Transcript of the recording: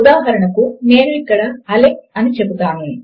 ఉదాహరణకు నేను ఇక్కడ అలెక్స్ అని చెపుతాను